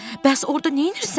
Bəs orda neynirsən?